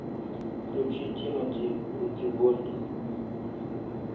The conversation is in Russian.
включи тимати руки в воздух